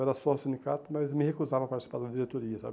Era só sindicato, mas me recusava a participar de diretoria, sabe?